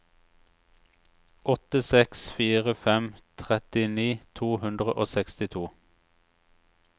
åtte seks fire fem trettini to hundre og sekstito